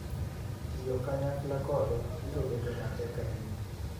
tiyo kanyakla kodwa biro bedo matek ahinya.